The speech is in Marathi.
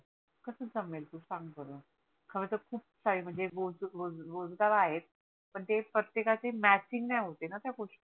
कस जमेल तु सांग बर खर तर खूप सारे म्हणजे रोजगार आहे पण ते प्रतेकाचे matching नाही होते णा त्या गोष्टी